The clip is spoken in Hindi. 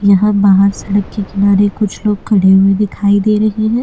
यहां बाहर सड़क के किनारे कुछ लोग खड़े हुए दिखाई दे रहे हैं।